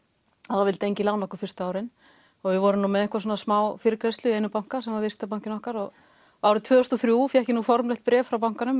og það vildi enginn lána okkur fyrstu árin og við vorum með einhverja smá fyrirgreiðslu í einum banka sem var viðskiptabankinn okkar árið tvö þúsund og þrjú fékk ég formlegt bréf frá bankanum